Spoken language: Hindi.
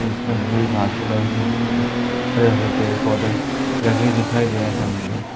जिसमें हमे हरे भरे पेड़ पौधे लगे दिखाई दे रहे हैं सामने की ओ--